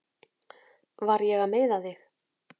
Var ég að meiða þig?